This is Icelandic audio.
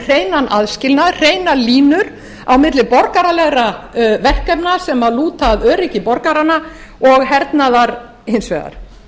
hreinan aðskilnað hreinar línur á milli borgaralegra verkefna sem lúta að öryggi borgaranna og hernaðar hins vegar